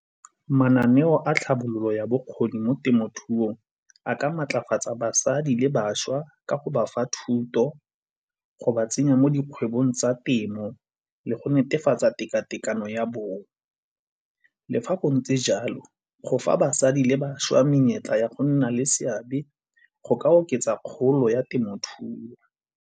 Mananeo a tlhabololo ya bokgoni mo temothuong a ka maatlafatsa basadi le bašwa ka go bafa thuto, go ba tsenya mo dikgwebong tsa temo le go netefatsa tekatekano ya bong. Le fa go ntse jalo go fa basadi le bašwa menyetla ya go nna le seabe go ka oketsa kgolo ya temothuo.